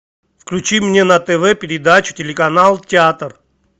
включи мне на тв передачу телеканал театр